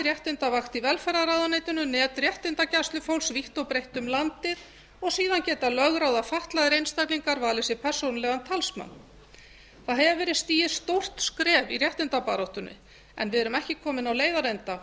réttindavakt í velferðarráðuneytinu net réttindagæslufólks vítt og breitt um landið og síðan geta lögráða fatlaðir einstaklingar valið sér persónulegan talsmann það hefur verið stigið stórt skref í réttindabaráttunni en við eru ekki komin á leiðarenda